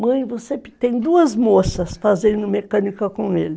Mãe, você tem duas moças fazendo mecânica com ele.